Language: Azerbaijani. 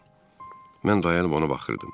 Mən dayanıb ona baxırdım.